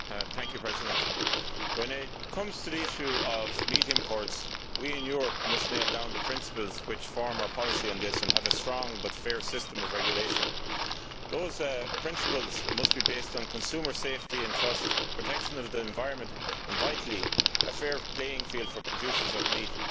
Madam President, when it comes to the issue of meat imports, we in Europe must nail down the principles which form our policy on this, and have a strong but fair system of regulation. Those principles must be based on consumer safety and trust, protection of the environment and vitally a fair playing field for producers of meat.